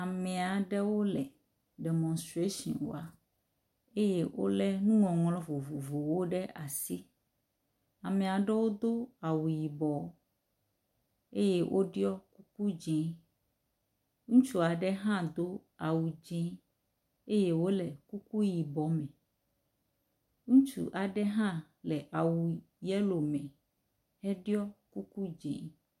Ame aɖewo le demonstration wɔm eye wolé nuŋɔŋlɔ vovovowo ɖe asi. Ame aɖewo do awu yibɔ eye woɖɔ kuku dzɛ̃. Ŋutsu aɖe hã do awu dzɛ̃ eye wòle kuku yibɔ me. Ŋutsu aɖe hã le awu yellow me heɖɔ kuku dzi.